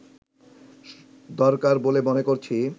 দরকার বলে মনে করছি